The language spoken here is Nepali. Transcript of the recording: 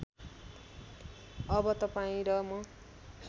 अब तपाईँ र म